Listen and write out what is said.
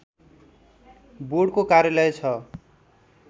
बोर्डको कार्यालय छ